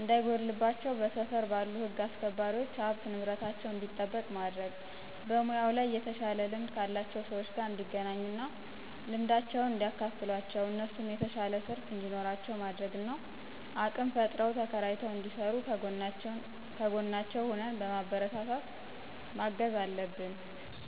እንዳይጎድልባቸው በስፍር ባሉ ህግ አስክባሪዎች ሀብት ንብረታቸው እንዲጠበቅ ማድረግ። በሙያው ላይ የተሻለ ልምድ ካላቸው ሰዎች ጋር እንዲገናኙ እና ልምዳቸውን እንዲያካፍሏቸው እነሱም የተሻለ ትርፍ እንዲኖራቸው ማድረግ እና አቅም ፈጥረው ተከራይተው እንዲስሩ ከጎናቸው ሁነን በማበረታታት ማገዝ አለብን።